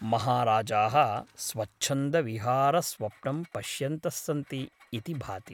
महाराजाः स्वच्छन्दविहारस्वप्नं पश्यन्तः सन्ति इति भाति ।